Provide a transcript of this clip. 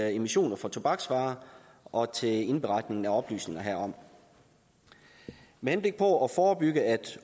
emissioner fra tobaksvarer og til indberetningen af oplysninger herom med henblik på at forebygge at